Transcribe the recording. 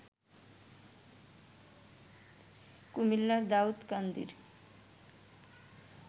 কুমিল্লার দাউদকান্দির